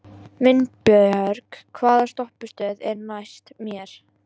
Vinbjörg, hvaða stoppistöð er næst mér?